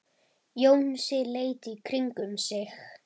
Jónsi leit í kringum sig.